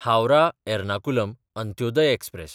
Howrah-Ernakulam Antyodaya express